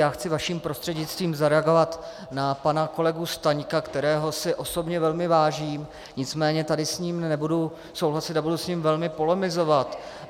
Já chci vaším prostřednictvím zareagovat na pana kolegu Staňka, kterého si osobně velmi vážím, nicméně tady s ním nebudu souhlasit a budu s ním velmi polemizovat.